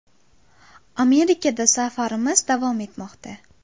Amerikada safarimiz davom etmoqda.